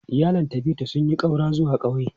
Iyalin Tabitha sun yi ƙaura zuwa ƙauye.